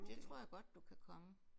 Det tror jeg godt du kan komme